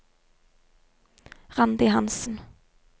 Randi Hansen